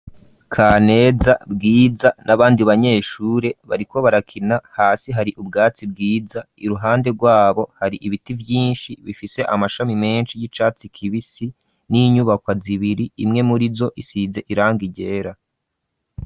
Kaneza, Bwiza n'abandi banyeshure bariko barakina hasi hari ubwatsi bwiza iruhande rwabo hari ibiti vyinshi bifise amashami menshi y'icatsi kibisi, n'inyubakwa zibiri imwe murizo isize irangi ryera.